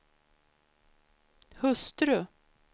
hustru